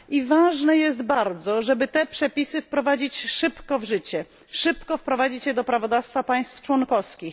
Ważne jest bardzo, żeby te przepisy wprowadzić szybko w życie, szybko wprowadzić je do prawodawstwa państw członkowskich.